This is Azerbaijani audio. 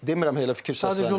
Demirəm elə fikir səslənmə.